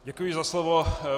Děkuji za slovo.